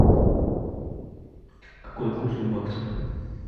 какой курс у бакса